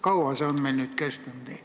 Kaua see olukord on meil nüüd kestnud?